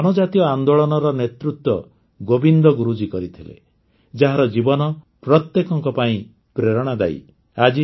ଏହି ଜନଜାତୀୟ ଆନ୍ଦୋଳନର ନେତୃତ୍ୱ ଗୋବିନ୍ଦ ଗୁରୁଜୀ କରିଥିଲେ ଯାହାର ଜୀବନ ପ୍ରତ୍ୟେକଙ୍କ ପାଇଁ ପ୍ରେରଣାଦାୟୀ